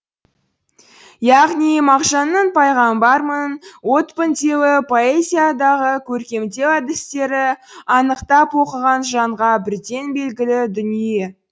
яғни мағжанның пайғамбармын отпын деуі поэзиядағы көркемдеу әдістері анықтап оқыған жанға бірден белгілі дүние